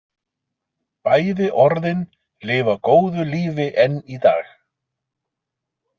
Bæði orðin lifa góðu lífi enn í dag.